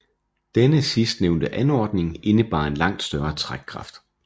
Denne sidst nævnte anordning indebar en langt større trækkraft